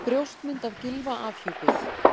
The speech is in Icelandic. Brjóstmynd af Gylfa afhjúpuð